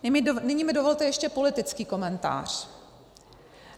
Nyní mi dovolte ještě politický komentář.